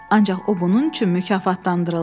Ancaq o bunun üçün mükafatlandırıldı.